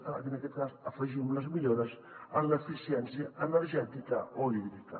en aquest cas afegim les millores en l’eficiència energètica o hídrica